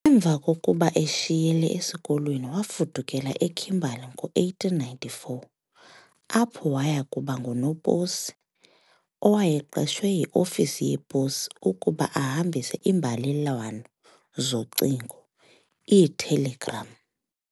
Emva kokuba eshiyile esikolweni, waafudukela eKimberley ngo-1894, apho wayakuba ng-unoposi owayeqeshwe yi-Ofisi yePosi ukuba ahambise iimbalelwano zocingo iitelegram.